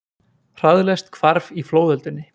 Hraðlest hvarf í flóðöldunni